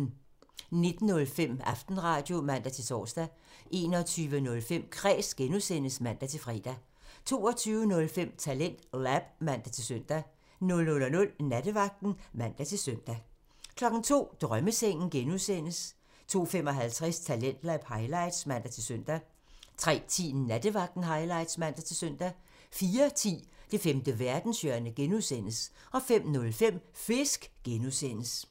19:05: Aftenradio (man-tor) 21:05: Kræs (G) (man-fre) 22:05: TalentLab (man-søn) 00:00: Nattevagten (man-søn) 02:00: Drømmesengen (G) (man) 02:55: Talentlab highlights (man-søn) 03:10: Nattevagten highlights (man-søn) 04:10: Det femte verdenshjørne (G) (man) 05:05: Fisk (G) (man)